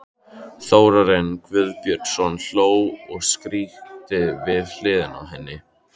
Þórarinn Guðbjörnsson hló og skríkti við hliðina á henni.